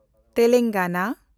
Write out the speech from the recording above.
Telangana